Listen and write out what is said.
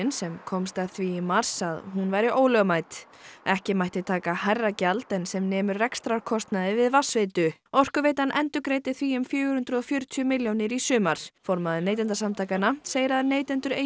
sem komst að því í mars að hún væri ólögmæt ekki mætti taka hærra gjald en sem nemur rekstrarkostnaði við vatnsveitu Orkuveitan endurgreiddi því um fjögur hundruð og fjörutíu milljónir í sumar formaður Neytendasamtakanna segir að neytendur eigi